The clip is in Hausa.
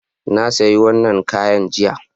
Na sayi wannan kayan jiya